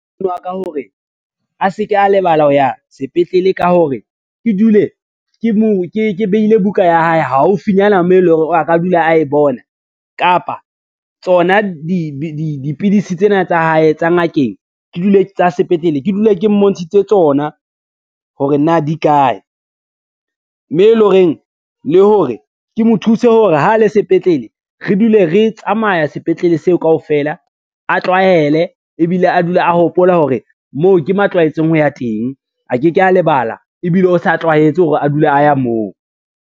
Ka hore a se ke a lebala ho ya sepetlele ka hore, ke dule ke behile buka ya hae haufinyana moo e le hore a ka dula a e bona, kapa tsona dipidisi tsena tsa hae tsa sepetlele, ke dule ke mmontshitse tsona hore na di kae, mme le hore ke mo thuse hore ha a le sepetlele re dule re tsamaya sepetlele seo kaofela a tlwaele, ebile a dule a hopola hore moo ke mo tlwaetseng ho ya teng, a ke ke a lebala ebile o sa tlwaetse hore a dule a ya moo.